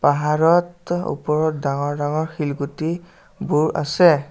পাহাৰত ওপৰত ডাঙৰ ডাঙৰ শিলগুটিবোৰ আছে।